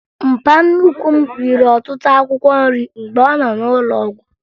Mpa nnukwu m riri ọtụtụ akwụkwọ nrị mgbe ọ nọ n'ụlọụgwụ